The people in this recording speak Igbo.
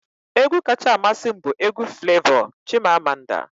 Egwu kacha amasị m bụ egwu Flevọ 'Chimamanda'